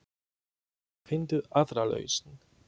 Finndu aðra lausn.